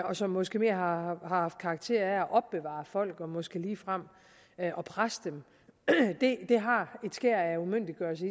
og som måske mere har haft karakter af at opbevare folk og måske ligefrem at presse dem har et skær af umyndiggørelse